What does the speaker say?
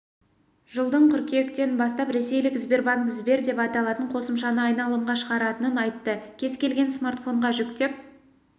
жылдың қыркүйектен бастап ресейлік сбербанк сбер деп аталатын қосымшаны айналымға шығаратынын айтты кез келген смартфонға жүктеп